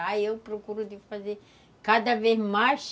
Aí eu procuro de fazer cada vez mais...